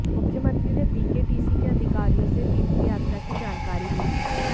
मुख्यमंत्री ने बीकेटीसी के अधिकारियों से तीर्थयात्रा की जानकारी भी ली